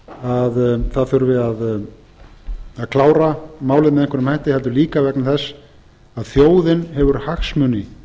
að það þurfi að klára málið með einhverjum hætti heldur líka vegna þess að þjóðin hefur hagsmuni